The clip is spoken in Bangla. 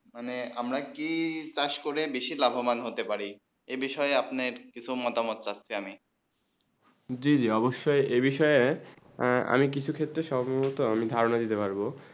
মানে আমরা কি চাষ করে বেশি লাভ মান হতে পারি এই বিষয়ে আপনি কিছু মতামত চাচী আমি জী জী অবসয়ে এই বিষয়ে আমি কিছু ক্ষেত্রে সমভূত আমি ধারণা দিতে পারবো